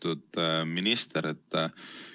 Lugupeetud minister!